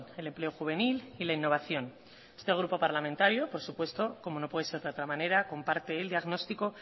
el empleo juvenil y la innovación este grupo parlamentario por supuesto como no puede ser de otra manera comparte el diagnóstico